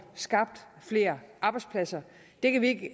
skabt flere arbejdspladser det kan vi ikke